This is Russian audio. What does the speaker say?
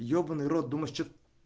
ёбанный рот думаешь что